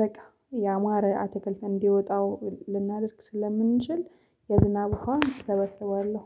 በቃ ያማረ አተክልተን እንዲወጣው ልናደርግ ስለምንችል የዝናብ ውሃ እሰበስባለሁ